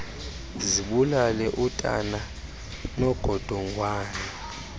zibulale utana nongodongwana